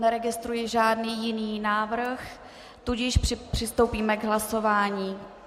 Neregistruji žádný jiný návrh, tudíž přistoupíme k hlasování.